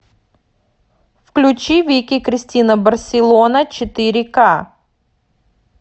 включи вики кристина барселона четыре к